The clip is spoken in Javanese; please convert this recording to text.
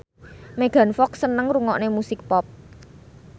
Megan Fox seneng ngrungokne musik pop